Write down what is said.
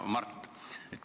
Hea Mart!